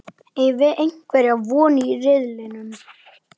Eigum við einhverja von í riðlinum?